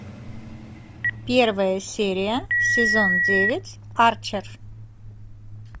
первая серия сезон девять арчер